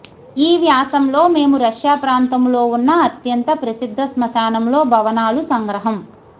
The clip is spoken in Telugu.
ఈ వ్యాసం లో మేము రష్యా ప్రాంతములో ఉన్న అత్యంత ప్రసిద్ధ శ్మశానంలో భవనాలు సంగ్రహం